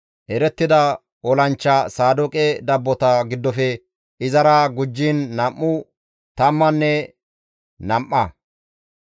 Erettida olanchcha Saadooqe dabbota giddofe izara gujjiin nam7u tammanne nam7a.